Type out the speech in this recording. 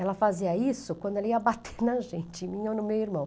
Ela fazia isso quando ela ia bater na gente, em mim ou no meu irmão.